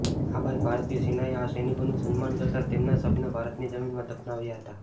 આ બાદ ભારતીય સેનાએ આ સૈનિકોનું સન્માન કરતા તેમના શબને ભારતની જમીનમાં દફનાવ્યા હતા